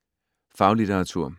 Faglitteratur